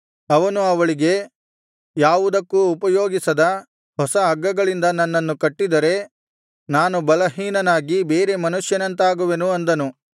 ಅವನು ಅವಳಿಗೆ ಯಾವುದಕ್ಕೂ ಉಪಯೋಗಿಸದ ಹೊಸ ಹಗ್ಗಗಳಿಂದ ನನ್ನನ್ನು ಕಟ್ಟಿದರೆ ನಾನು ಬಲಹೀನನಾಗಿ ಬೇರೆ ಮನುಷ್ಯರಂತಾಗುವೆನು ಅಂದನು